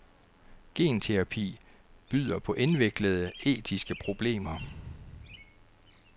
Genterapi byder på indviklede etiske problemer.